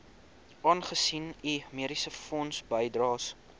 aangesien u mediesefondsbydraes